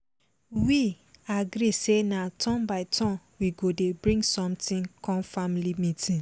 we agree say na turn by turn we go dey bring something come family meeting